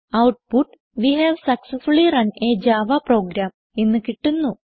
output we have successfully run a Java program എന്ന് കിട്ടുന്നു